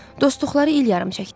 Dostluqları il yarım çəkdi.